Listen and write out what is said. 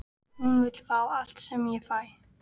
Hún vill fá allt sem ég fæ.